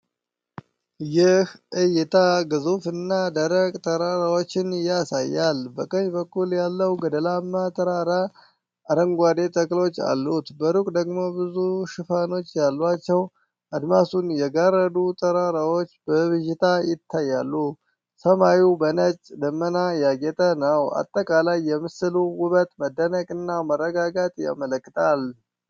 ይህ እይታ ግዙፍ እና ደረቅ ተራራዎችን ያሳያል። በቀኝ በኩል ያለው ገደላማ ተራራ አረንጓዴ ተክሎች አሉት። በሩቅ ደግሞ ብዙ ሽፋኖች ያሏቸው አድማሱን የጋረዱ ተራራዎች በብዥታ ይታያሉ። ሰማዩ በነጭ ደመና ያጌጠ ነው። አጠቃላይ የምስሉ ውበት መደነቅን እና መረጋጋትን ያመለክታል።